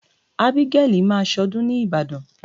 Ábígẹ́lì máa ṣọdún ni Ìbàdàn.